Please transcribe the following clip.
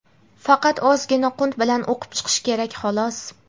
Faqat ozgina qunt bilan o‘qib chiqish kerak xolos.